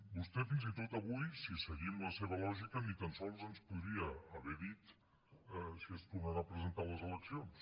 vostè fins i tot avui si seguim la seva lògica ni tan sols ens podria haver dit si es tornarà a presentar a les eleccions